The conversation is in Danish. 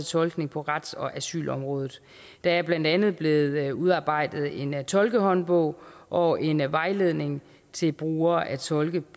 tolkning på rets og asylområdet der er blandt andet blevet udarbejdet en tolkehåndbog og en vejledning til brugere af tolke